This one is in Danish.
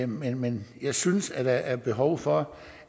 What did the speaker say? men jeg synes der er behov for